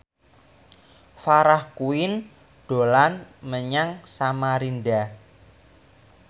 Farah Quinn dolan menyang Samarinda